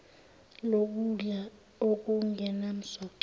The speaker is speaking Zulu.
lokudla okungenam soco